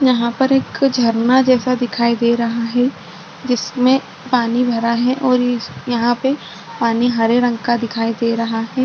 यहाँ पर एक झरना जैसा दिखाई दे रहा है जिसमे पानी भरा है और इस यहाँ पे पानी हरे रंग का दिखाई दे रहा है।